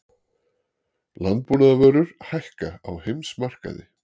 Landbúnaðarvörur hækka á heimsmarkaði